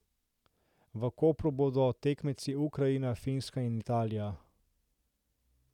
V Kopru bodo tekmeci Ukrajina, Finska in Italija.